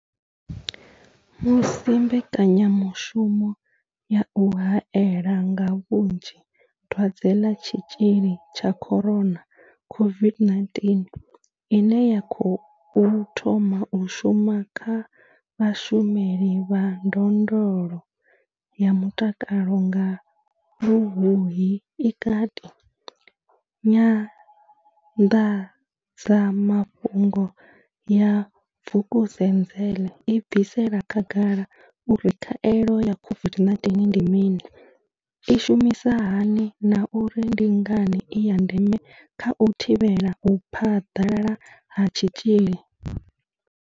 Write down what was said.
Musi mbekanyamushumo ya u haela nga vhunzhi dwadze ḽa tshitzhili tsha corona COVID-19 ine ya khou thoma u shuma kha vhashumeli vha ndondolo ya mutakalo nga Luhuhi i kati, Nyanḓadzamafhungo ya Vukuzenzele i bvisela khagala uri khaelo ya COVID-19 ndi mini, i shumisa hani na uri ndi ngani i ya ndeme kha u thivhela u phaḓalala ha tshitzhili.